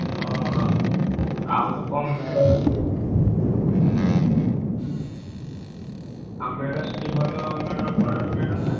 ଅହ! ଆଉ କଣ ଆଉ ମେଢ ସେଠି ଭଲ ମେଢ ବଡ ମେଢ ନା?